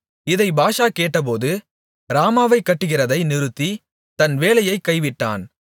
இதை பாஷா கேட்டபோது ராமாவைக் கட்டுகிறதை நிறுத்தி தன் வேலையைக் கைவிட்டான்